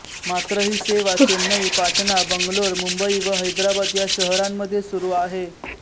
मात्र ही सेवा चेन्नई पाटणा बंगलोरमुंबई व हैदराबाद या शहरांमध्ये सुरू आहे